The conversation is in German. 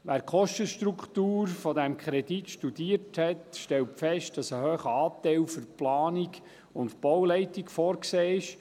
Wer die Kostenstruktur dieses Kredits studiert hat, stellt fest, dass ein hoher Anteil für die Planung und Bauleitung vorgesehen ist.